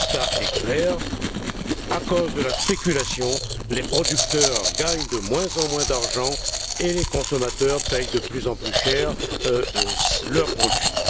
Le constat est clair à cause de la spéculation, les producteurs gagnent de moins en moins d'argent et les consommateurs paient de plus en plus cher leurs produits.